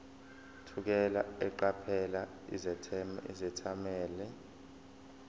thukela eqaphela izethameli